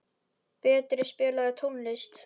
Berti, spilaðu tónlist.